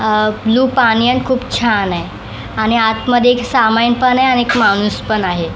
Blue पाणी आणि खूप छान आहे आणि आत मध्ये एक सामान पण आहे आणि एक माणूस पण आहे.